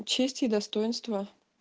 честь и достоинство